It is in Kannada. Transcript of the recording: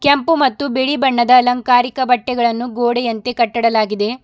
ಕೆಂಪು ಮತ್ತು ಬಿಳಿ ಬಣ್ಣದ ಅಲಂಕಾರಿಕ ಬಟ್ಟೆಗಳನ್ನು ಗೋಡೆಯಂತೆ ಕಟ್ಟಡಲಾಗಿದೆ.